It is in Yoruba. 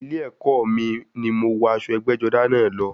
Ilé ẹkọ ni mo wọ aṣọ ẹgbẹ́-jọdá náà lọ.